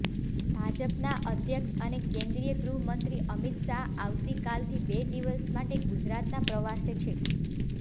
ભાજપના અધ્યક્ષ અને કેન્દ્રીય ગૃહમંત્રી અમિત શાહ આવતી કાલથી બે દિવસ માટે ગુજરાતના પ્રવાસે છે